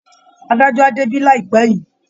Adájọ́ á débí láìpẹ́ yìí